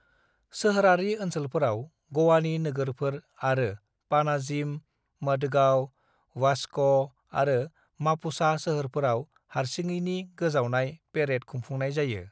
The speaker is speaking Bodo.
"सोहोरारि ओनसोलफोराव, ग'वानि नोगोरफोर आरो पानाजिम, मडगांव, वास्क' आरो मापुसा सोहोरफोराव हारसिङैनि गोजावनाय पेरेद खुंफुंनाय जायो।"